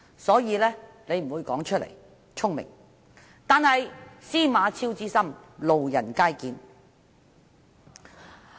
因此，他不會說出來，這是聰明的做法，但"司馬昭之心，路人皆見"。